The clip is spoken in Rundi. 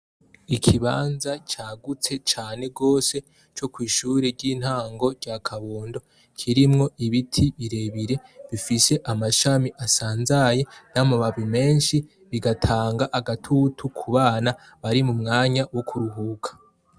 ikibanza cyagutse cane gose cyo kwishure ry'intango rya kabondo kirimwo ibiti birebire bifise amashami asanzaye n'amamabi menshi bigatanga agatutu kubana bari mu mwanya wo kuruhuka